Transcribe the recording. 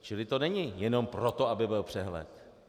Čili to není jenom proto, aby byl přehled.